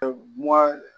Mugan